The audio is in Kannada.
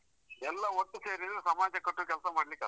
ಎಲ್ಲ ಒಟ್ಟು ಸೇರಿದ್ರೆ ಸಮಾಜಕಟ್ಟುವ ಕೆಲಸ ಮಾಡ್ಲಿಕ್ಕೆ ಆತ್.